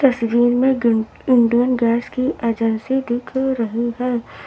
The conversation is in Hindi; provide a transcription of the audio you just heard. तस्वीर में ग इंडियन गैस की एजेंसी दिख रही है।